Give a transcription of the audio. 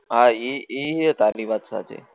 હા ઈ ઈ તારી વાત સાચી